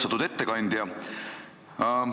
Austatud ettekandja!